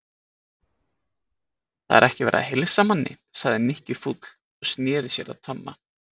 Það er ekki verið að heilsa manni sagði Nikki fúll og snéri sér að Tomma.